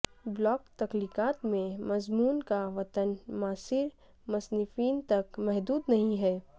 block تخلیقات میں مضمون کا وطن معاصر مصنفین تک محدود نہیں ہے